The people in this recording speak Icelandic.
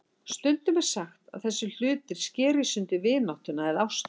Stundum er sagt að þessir hlutir skeri í sundur vináttuna eða ástina.